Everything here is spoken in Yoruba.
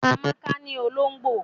Amaka ni olongbo.